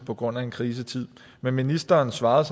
på grund af krisetid men ministeren svarede